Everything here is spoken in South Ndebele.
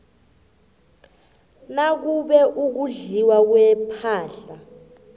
nakube ukudliwa kwepahla